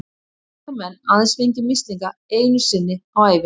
Því geta menn aðeins fengið mislinga einu sinni á ævinni.